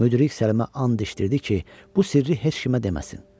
Müdrik Səlimə and içdirdi ki, bu sirri heç kimə deməsin.